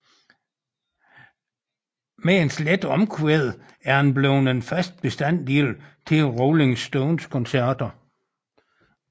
Med dens lette omkvæd er den blevet en fast bestanddel til Rolling Stones koncerter